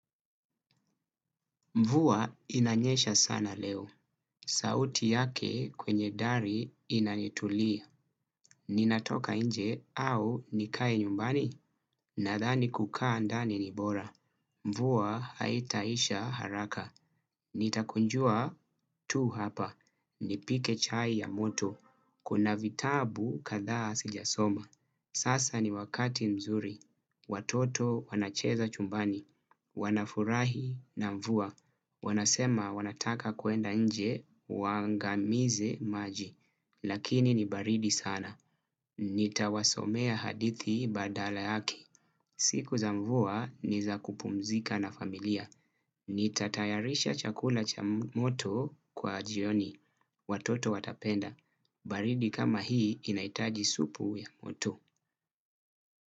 Mvua inanyesha sana leo, sauti yake kwenye dari inanitulia, ninatoka nje au nikae nyumbani, nadhani kukaa ndani ni bora. Mvua haitaisha haraka, nitakunjua tu hapa, nipike chai ya moto, kuna vitabu kadhaa sijasoma. Sasa ni wakati mzuri, watoto wanacheza chumbani, wanafurahi na mvua, wanasema wanataka kuenda nje, waangamize maji, lakini ni baridi sana. Nitawasomea hadithi badala yake siku za mvua ni za kupumzika na familia, nita tayarisha chakula cha moto kwa jioni, watoto watapenda, baridi kama hii inahitaji supu ya moto.